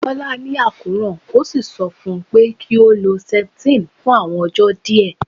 Bola ni akoran, o si sọ fun u pe ki o lo septine fun awọn ọjọ diẹ